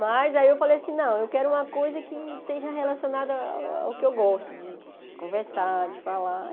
Mas aí eu falei assim, não, eu quero uma coisa que esteja relacionada ao que eu gosto, de conversar, de falar.